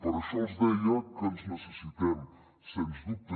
per això els deia que ens necessitem sens dubte